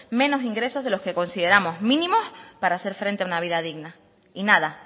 menos ingresos de los que consideramos mínimos para hacer frente a una vida digna y nada